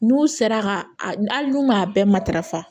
N'u sera ka hali n'u m'a bɛɛ matarafa